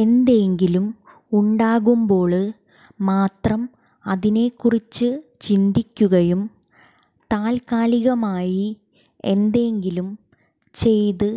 എന്തെങ്കിലും ഉണ്ടാകുമ്പോള് മാത്രം അതിനെ കുറിച്ച് ചിന്തിക്കുകയും താല്ക്കാലികമായി എന്തെങ്കിലും ചെയ്ത്